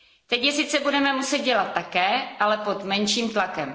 Teď je sice budeme muset dělat také, ale pod menším tlakem.